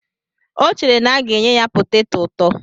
O chere na a ga-enye ya poteto ụtọ.